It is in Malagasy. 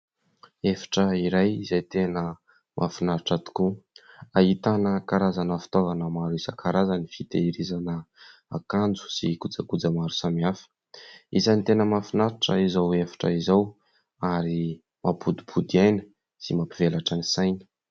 Efitra iray izay tena mahafinaritra tokoa, ahitana karazana fitaovana maro isan-karazany : fitehirizana akanjo sy kojakoja maro samihafa. Isan'ny tena mahafinaritra izao efitra izao, ary mampodipody aina sy mampivelatra ny saina.